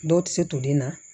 Dɔw tɛ se to den na